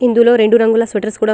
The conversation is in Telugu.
ఇందులో రెండు రంగుల స్వేటర్స్ కూడా --